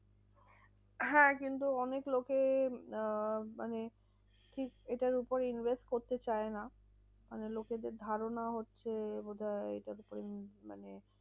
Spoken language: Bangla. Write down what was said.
হ্যাঁ কিন্তু অনেক লোকে আহ মানে ঠিক এটার উপরে invest করতে চায় না। কেন লোকেদের ধারণা হচ্ছে বোধহয় মানে